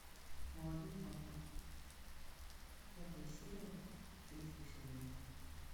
молодой папа пятая серия третьего сезона